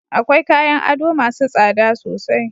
Akwai kayan ado masu tsada sosai